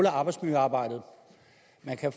arbejdsmiljøarbejde